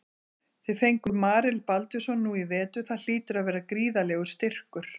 Þið fenguð Marel Baldvinsson nú í vetur það hlýtur að vera gríðarlegur styrkur?